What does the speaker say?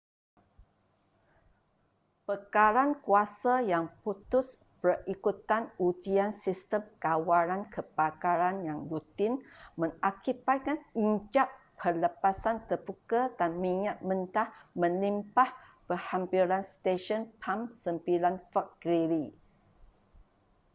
bekalan kuasa yang putus berikutan ujian sistem kawalan kebakaran yang rutin mengakibatkan injap pelepasan terbuka dan minyak mentah melimpah berhampiran stesen pam 9 fort greely